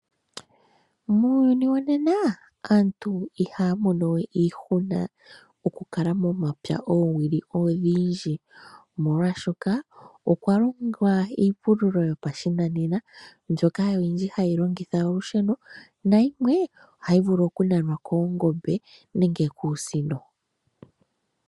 Muuyuni wonena aantu ihaa mono we iihuna oku kala momapya oowili odhindji, omolwaashoka okwa longwa iipululo yopashinanena mbyoka oyindji hayi longitha olusheno nayimwe ohayi vulu okunanwa koongombe nenge kuusino.